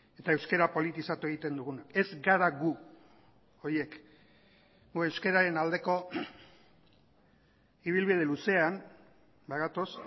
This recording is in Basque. eta euskara politizatu egiten duguna ez gara gu horiek gu euskararen aldeko ibilbide luzean gatoz